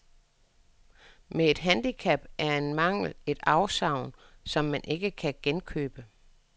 Men et handicap er en mangel, et afsavn, som man dog ikke kan genkøbe.